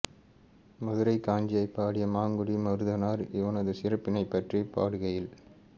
மதுரைக் காஞ்சியைப் பாடிய மாங்குடி மருதனார் இவனது சிறப்பினைப் பற்றிப் பாடுகையில்